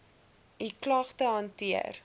u klagte hanteer